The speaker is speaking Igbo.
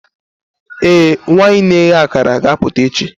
ee, nwanyị na-eghe akara ga-apụta echi.